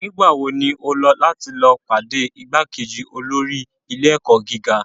Nigbawo ni o lọ lati pade igbakeji olori ile-ẹkọ giga?